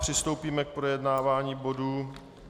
Přistoupíme k projednávání bodu